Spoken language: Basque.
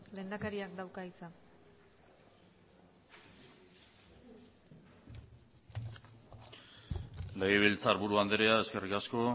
lehendakariak dauka hitza legebiltzarburu andrea eskerrik asko